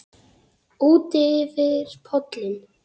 Útyfir pollinn